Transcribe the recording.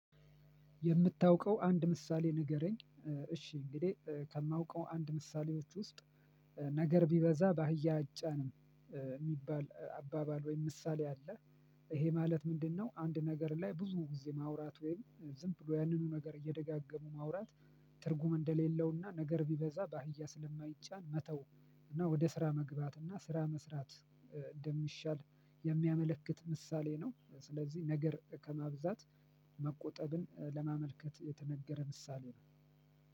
የምታውቀው አንድ ምሳሌ ንገረኝ? እሺ እንግዲህ ከማውቀው አንድ ምሳሌዎች ውስጥ "ነገር ቢበዛ በአህያ አጫንም" የሚባል አባባል ወይም ምሳሌ አለ። ይሄ ማለት ምንድነው? አንድ ነገር ላይ ብዙ ጊዜ ማውራት ወይም ዝም ብሎ ያንኑ ነገር እየደጋገሙ ማውራት ትርጉም እንደሌለውና ነገር ቢበዛ በአህያ ስለማይጫን መተው እና ወደ ስራ መግባት እና ስራ መስራት እንደሚሻል የሚያመለክት ምሳሌ ነው። ስለዚህ ነገር ከማብዛት መቆጠብን ለማመልከት የተነገረ ምሳሌ ነው።